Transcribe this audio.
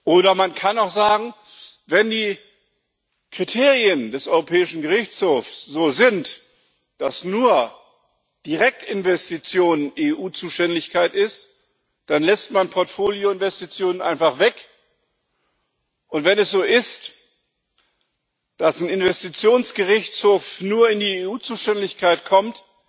Oder man kann auch sagen Wenn die Kriterien des Europäischen Gerichtshofs so sind, dass nur Direktinvestitionen EU Zuständigkeit sind, dann lässt man Portfolioinvestitionen einfach weg, und wenn es so ist, dass ein Investitionsgerichtshof nur in die EU Zuständigkeit kommt,